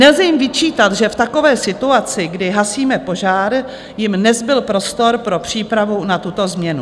Nelze jim vyčítat, že v takové situaci, kdy hasíme požár, jim nezbyl prostor pro přípravu na tuto změnu.